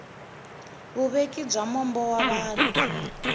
vuveki bya mbono wa vanhu